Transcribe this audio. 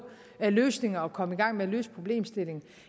løsninger og komme i gang med at løse problemstillingen